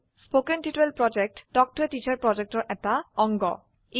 কথন শিক্ষণ প্ৰকল্প তাল্ক ত a টিচাৰ প্ৰকল্পৰ এটা অংগ